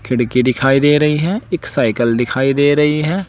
खिड़की दिखाई दे रही है एक साइकल दिखाई दे रही है।